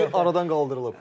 Limit aradan qaldırılıb.